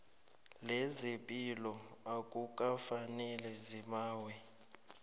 lezepilo akukafaneli zibawe